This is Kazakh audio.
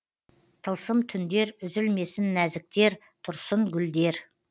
тылсым түндер үзілмесін нәзіктер тұрсын гүлдер